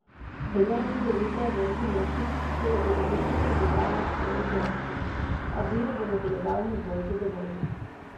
Trener Cedevite Veljko Mršić se je ob igrišču hudoval na svoje igralce, a bil v nadaljevanju bolj zadovoljen.